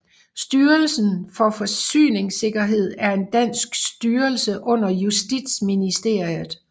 Styrelsen for Forsyningssikkerhed er en dansk styrelse under Justitsministeriet